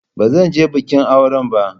Ba zan je bikin aure ba.